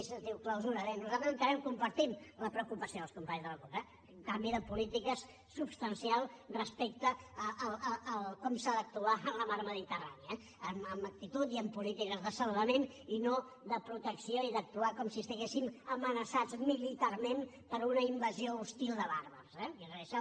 se’n diu clausura bé nosaltres entenem compartim la preocupació dels companys de la cup eh un canvi de polítiques substancial respecte a com s’ha d’actuar en la mar mediterrània amb actitud i amb polítiques de salvament i no de protecció i d’actuar com si estiguéssim amenaçats militarment per una invasió hostil de bàrbars eh i és això